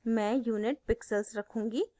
मैं unit pixels रखूँगी